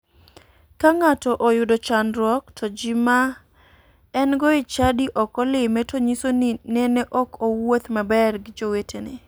Ka ng'ato oyudo chandruok to ji ma engo e chadi ok olime to nyiso ni nene ok owuoth maber gi jowetene.